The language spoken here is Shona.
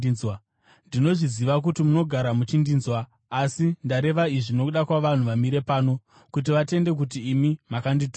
Ndinozviziva kuti munogara muchindinzwa, asi ndareva izvi nokuda kwavanhu vamire pano, kuti vatende kuti imi makandituma.”